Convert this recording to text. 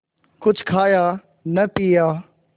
कुछ खाया न पिया